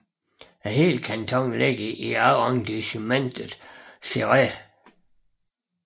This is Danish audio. Hele kantonen ligger i Arrondissement Céret